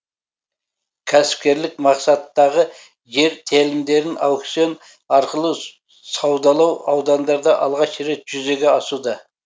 кәсіпкерлік мақсаттағы жер телімдерін аукцион арқылы саудалау аудандарда алғаш рет жүзеге асуда